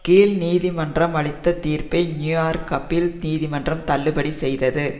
கீழ் நீதி மன்றம் அளித்த தீர்ப்பை நியூயோர்க் அப்பீல் நீதி மன்றம் தள்ளுபடி செய்தது